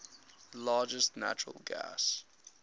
largest natural gas